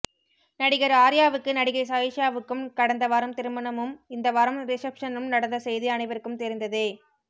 நடிகர் ஆர்யாவுக்கு நடிகை சாயிஷாவுக்கும் கடந்த வாரம் திருமணமும் இந்த வாரம் ரிசப்ஷனும் நடந்த செய்தி அனைவருக்கும் தெரிந்ததே